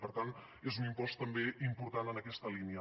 per tant és un impost també important en aquesta línia